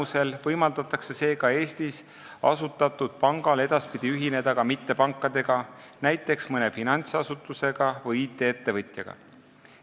Seega võimaldab eelnõu Eestis asutatud pangal edaspidi ühineda ka mittepankadega, näiteks mõne finantsasutusega või IT-ettevõtjaga.